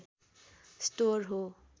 store हो